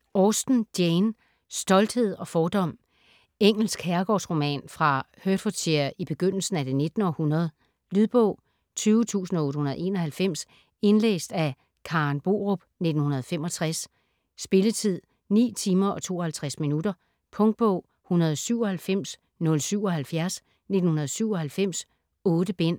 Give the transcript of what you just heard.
Austen, Jane: Stolthed og fordom Engelsk herregårdsroman fra Hertfordshire i begyndelsen af det 19. århundrede. Lydbog 20891 Indlæst af Karen Borup, 1965. Spilletid: 9 timer, 52 minutter. Punktbog 197077 1997. 8 bind.